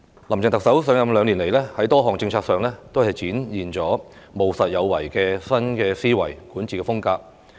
林鄭特首上任兩年來，在多項政策上都展現了務實有為的新思維管治風格。